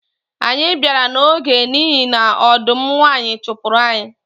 Anyị bịara n’oge n’ihi na ọdụm nwanyi chụpụrụ anyị